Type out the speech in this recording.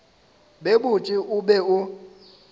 be botse o be o